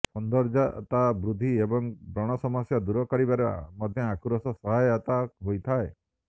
ସୌନ୍ଦର୍ଯତା ବୃଦ୍ଧି ଏବଂ ବ୍ରଣ ସମସ୍ୟା ଦୂର କରିବାରେ ମଧ୍ୟ ଆଖୁରସ ସହାୟତା ହୋଇଥାଏ